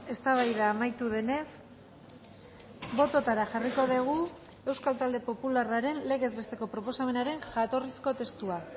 eztabaida amaitu denez bototara jarriko dugu euskal talde popularraren legez besteko proposamenaren jatorrizko testua